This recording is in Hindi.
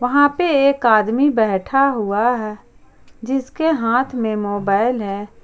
वहां पे एक आदमी बैठा हुआ है जिसके हाथ में मोबाइल है।